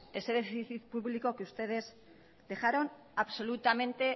ese déficit público que ustedes dejaron absolutamente